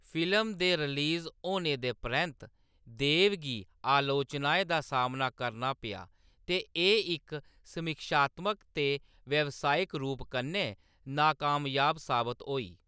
Film दे release होने दे परैंत्त देव गी आलोचनाएं दा सामना करना पेआ, ते एह्‌‌ इक समीक्षात्मक ते व्यावसायिक रूप कन्नै नाकामयाब साबत होई।